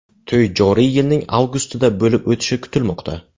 To‘y joriy yilning avgustida bo‘lib o‘tishi kutilmoqda.